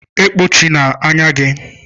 E kpuchina anya gi.